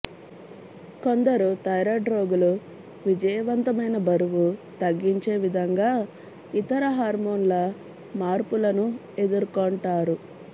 కొందరు థైరాయిడ్ రోగులు విజయవంతమైన బరువు తగ్గించే విధంగా ఇతర హార్మోన్ల మార్పులను ఎదుర్కొంటారు